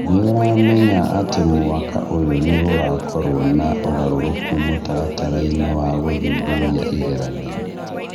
Nĩ ũramenya atĩ mwaka ũyũ nĩ gũgakorũo na ũgarũrũku mũtaratara-inĩ wa gũthuthuria igeranio